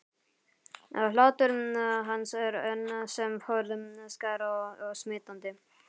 Hlátur hans er enn sem forðum skær og smitandi.